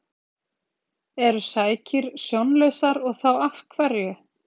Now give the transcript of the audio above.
Eru sækýr sjónlausar og þá af hverju?